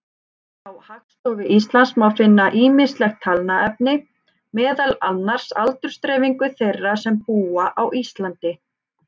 Hjá Hagstofu Íslands má finna ýmislegt talnaefni, meðal annars aldursdreifingu þeirra sem búa á Íslandi.